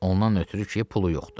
Ondan ötrü ki, pulu yoxdur.